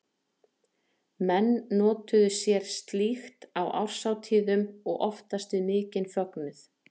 Menn notuðu sér slíkt á árshátíðum og oftast við mikinn fögnuð.